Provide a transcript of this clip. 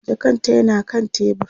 jakan ta yana kan tebur